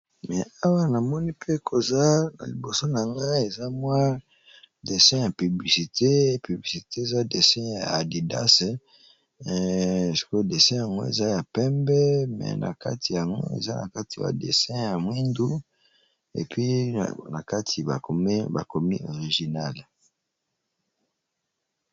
Me awa na moni pe koza na liboso na nga eza mwa dessin ya publicite. Piblicite eza dessin ya adidase. Sikoyo dessin yango eza ya pembe. Me na kati yango eza na kati ba dessin ya mwindu epui na kati ba komi originale.